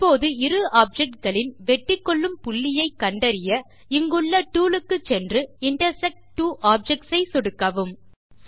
இப்போது இரு ஆப்ஜெக்ட்ஸ் களின் வெட்டிக்கொள்ளும் புள்ளியை கண்டறிய இங்குள்ள டூல் க்குச் சென்று இன்டர்செக்ட் ட்வோ ஆப்ஜெக்ட்ஸ் ஐ சொடுக்கவும்